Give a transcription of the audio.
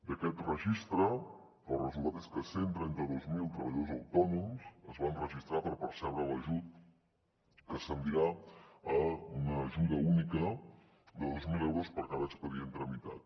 d’aquest registre el resultat és que cent i trenta dos mil treballadors autònoms es van registrar per percebre l’ajut que se’n dirà una ajuda única de dos mil euros per cada expedient tramitat